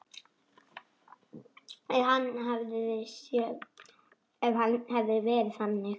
Ef hann hefði verið þannig.